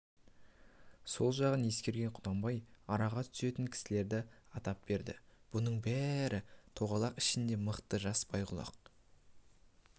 сол жағын ескерген құнанбай араға түсетін кісілерді атап берді бұның бірі тоғалақ ішіндегі мықты жас байғұлақ